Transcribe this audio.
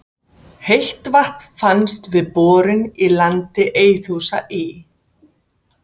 Heitt vatn fannst við borun í landi Eiðhúsa í